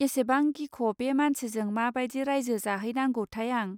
एसेबां गिख बे मानसिजों माबादि रायजो जाहैनांगौथाय आं